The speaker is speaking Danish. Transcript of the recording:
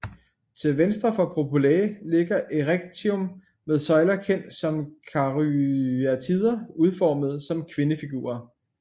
Til venstre for Propylæa ligger Erechteum med søjler kendt som karyatider udformet som kvindefigurer